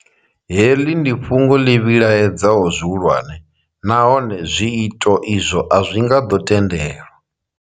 Heḽi ndi fhungo ḽi vhilaedzaho zwihulwane nahone zwiito izwo a zwi nga ḓo tendelwa.